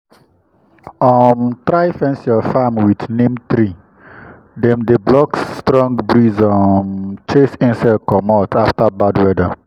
anytime i see dark cloud i dey rush tie um plantain stem stem with rope sharp-sharp make breeze no use am play.